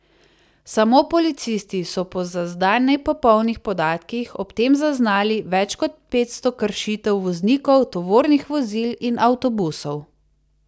Samo policisti so po za zdaj nepopolnih podatkih ob tem zaznali več kot petsto kršitev voznikov tovornih vozil in avtobusov.